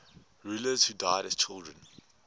rulers who died as children